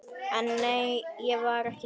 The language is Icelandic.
En nei, var ekki þannig.